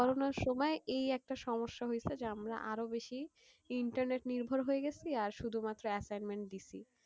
করোনার সময় এই একটা সমস্যা হয়েছে যে আমরা আরও বেশি internet নির্ভর হয়ে গেছি আর শুধুমাত্র assignment দিসি।